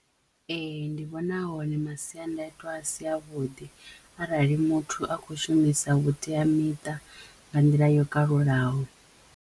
Ee ndi vhona a hone masiandaitwa a si avhuḓi arali muthu a kho shumisa vhuteamiṱa nga nḓila yo kalulaho.